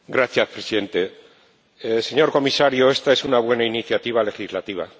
Señor Presidente. Señor Comisario, esta es una buena iniciativa legislativa.